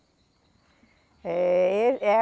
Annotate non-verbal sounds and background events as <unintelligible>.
É <unintelligible>